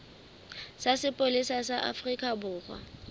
sa sepolesa sa afrika borwa